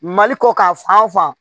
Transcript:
Mali kɔ k'a fan